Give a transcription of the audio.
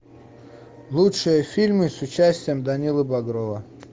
лучшие фильмы с участием данилы багрова